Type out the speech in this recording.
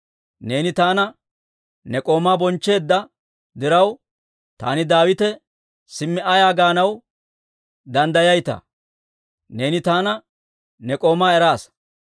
Neeni taana ne k'oomaa bonchcheedda diraw, taani Daawite simmi ayaa gaanaw danddayayitaa? Neeni taana ne k'oomaa eraasa.